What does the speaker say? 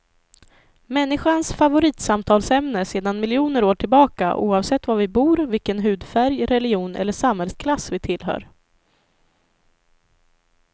Människans favoritsamtalsämne sedan miljoner år tillbaka oavsett var vi bor, vilken hudfärg, religion eller samhällsklass vi tillhör.